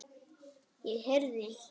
Ég heyrði.